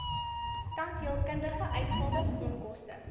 tandheelkundige uitgawes onkoste